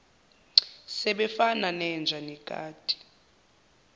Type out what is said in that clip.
sebefana nenja nekati